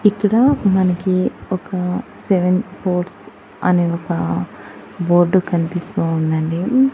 ఇక్కడ మనకి ఒక సెవెన్ బోట్స్ అని ఒక బోర్డు కన్పిస్తూ ఉన్నది.